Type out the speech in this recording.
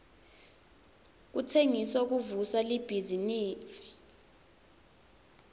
kutsengisa kuvusa libhizinifi